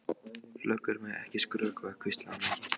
Löggur mega ekki skrökva, hvíslaði Magga.